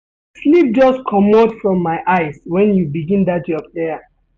Sleep just comot from my eyes wen you begin dat your prayer.